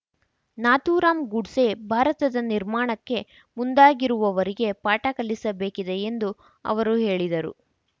ನಾಥೂರಾಮ್ ಗೂಡ್ಸೆ ಭಾರತದ ನಿರ್ಮಾಣಕ್ಕೆ ಮುಂದಾಗಿರುವವರಿಗೆ ಪಾಠ ಕಲಿಸಬೇಕಿದೆ ಎಂದು ಅವರು ಹೇಳಿದರು